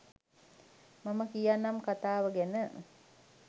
මම කියන්නම් කතාව ගැන